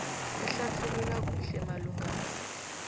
ehlathulula kuhle malungana